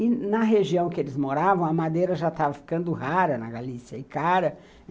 E, na região que eles moravam, a madeira já estava ficando rara na Galícia, e cara.